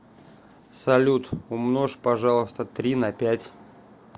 салют умножь пожалуйста три на пять